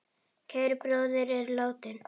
Kær bróðir er látinn.